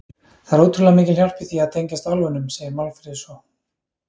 Það er ótrúlega mikil hjálp í því að tengjast álfunum, segir Málfríður svo.